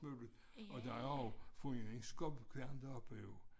Mølle og der er også fundet en skubbekværn deroppe jo